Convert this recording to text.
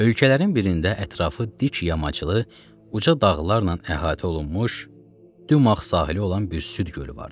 Ölkələrin birində ətrafı dik yamaclı, uca dağlarla əhatə olunmuş, dümağ sahili olan bir süd gölü vardı.